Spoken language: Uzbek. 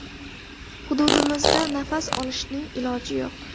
Hududimizda nafas olishning iloji yo‘q.